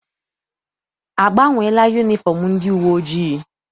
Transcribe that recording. A gbanweela yunifọm ndị uwe ojii?